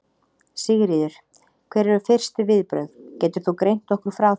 Sigríður: Hver eru fyrstu viðbrögð, getur þú greint okkur frá þeim?